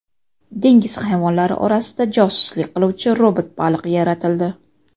Dengiz hayvonlari orasida josuslik qiluvchi robot baliq yaratildi .